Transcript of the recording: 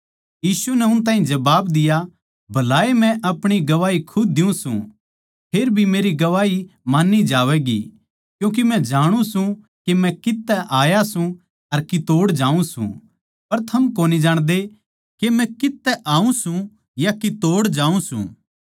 यीशु नै उन ताहीं जबाब दिया भलाए मै अपणी गवाही खुद देऊँ सूं फेर भी मेरी गवाही मान्नी जावैगी क्यूँके मै जाणु सूं के मै कित्त तै आया सूं अर कितोड़ जाऊँ सूं पर थम कोनी जाणदे के मै कित्त तै आऊँ सूं या कितोड़ जाऊँ सूं